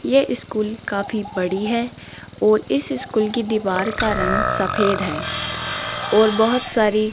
ये स्कूल काफी बड़ी है और इस स्कूल की दीवार का रंग सफेद है और बहुत सारी --